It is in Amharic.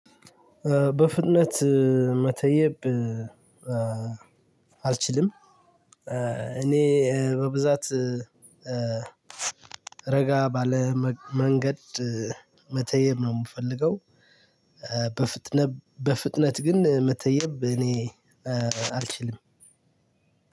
በፍጥነት መተየብ አልችልም። እኔ በብዛት ረጋ ባለ መንገድ መተየብ ነው የምፈልገው። በፍጥነት ግን መተየብ እኔ አልችልም።